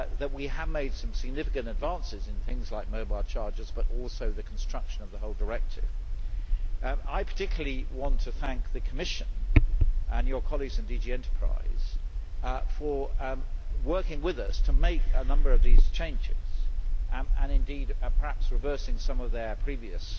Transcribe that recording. We have made some significant advances in such things as mobile chargers, but also in the construction of the whole directive. I particularly want to thank the Commission, and your colleagues in DG Enterprise, for working with us to make a number of these changes, and indeed perhaps reversing some of their previous